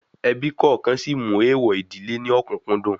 Ebí kọ̀ọ̀kan sí mú èèwọ̀ ìdílé ní òkùǹkùn dùn